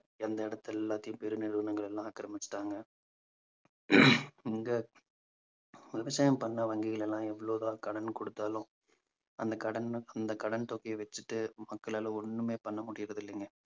எந்த இடத்தை எல்லாத்தையும் பெரு நிறுவனங்கள் எல்லாம் ஆக்கிரமிச்சிட்டாங்க இந்த விவசாயம் பண்ண வங்கிகள் எல்லாம் எவ்வளவுதான் கடன் கொடுத்தாலும் அந்த கடன் அந்த கடன் தொகையை வச்சுட்டு மக்களால ஒண்ணுமே பண்ண முடியறதில்லைங்க.